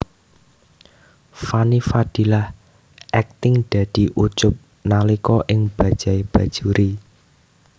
Fanny Fadillah akting dadi Ucup nalika ing Bajaj Bajuri